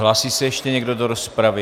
Hlásí se ještě někdo do rozpravy?